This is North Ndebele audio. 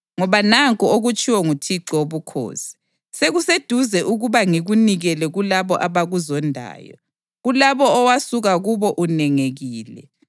Ngoba nanku okutshiwo nguThixo Wobukhosi: Sekuseduze ukuba ngikunikele kulabo abakuzondayo, kulabo owasuka kubo unengekile.